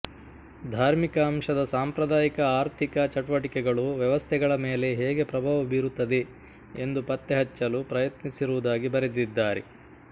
ಧಾರ್ಮಿಕ ಅಂಶದ ಸಾಂಪ್ರದಾಯಿಕ ಆರ್ಥಿಕ ಚಟುವಟಿಕೆಗಳು ವ್ಯವಸ್ಥೆಗಳ ಮೇಲೆ ಹೇಗೆ ಪ್ರಭಾವ ಬೀರುತ್ತದೆ ಎಂದು ಪತ್ತೆಹಚ್ಚಲು ಪ್ರಯತ್ನಿಸಿರುವುದಾಗಿ ಬರೆದಿದ್ದಾರೆ